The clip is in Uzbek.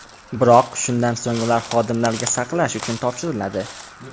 Biroq shundan so‘ng ular xodimlarga saqlash uchun topshiriladi.